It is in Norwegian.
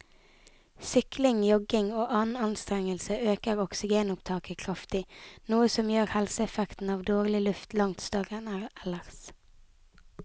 Sykling, jogging og annen anstrengelse øker oksygenopptaket kraftig, noe som gjør helseeffekten av dårlig luft langt større enn ellers.